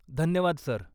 धन्यवाद सर.